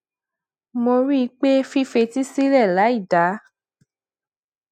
mo rí i pé fífetí sílè láì dá